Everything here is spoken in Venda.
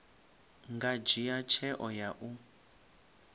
nga dzhia tsheo ya u